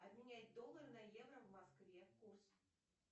обменять доллары на евро в москве курс